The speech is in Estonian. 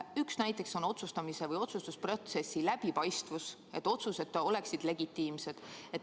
Üks näide on otsustamise või otsustusprotsessi läbipaistvus, et otsused oleksid legitiimsed.